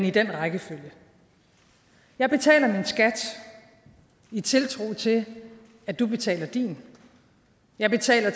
i den rækkefølge jeg betaler min skat i tiltro til at du betaler din jeg betaler